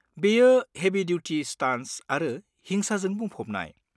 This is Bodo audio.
बेयो हेभि दुथि स्टान्टस आरो हिसांजों बुंफबनाय।